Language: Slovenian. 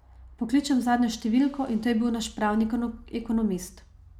Pokličem zadnjo številko in to je bil naš pravnik, ekonomist.